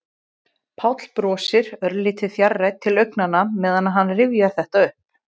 Páll brosir, örlítið fjarrænn til augnanna meðan hann rifjar þetta upp.